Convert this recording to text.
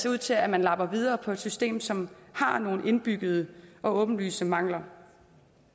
ud til at man lapper videre på et system som har nogle indbyggede og åbenlyse mangler